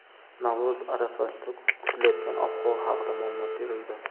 Navro‘z arafasida kutilayotgan ob-havo haqida ma’lumot berildi.